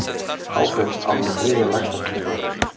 Háfell átti þriðja lægsta tilboðið